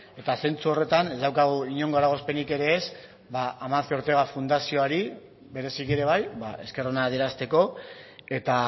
eta zentzu horretan ez daukagu inongo eragozpenik ere ez ba amancio ortega fundazioari bereziki ere bai esker ona adierazteko eta